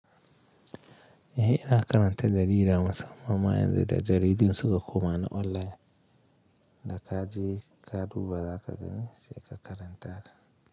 Eh ana karanta jarida musamman ma yanzu da jaridu suka koma na online, da ka je ka duba za ka gani sai ka karanta ta.